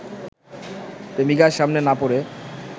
প্রেমিকার সামনে না পড়ে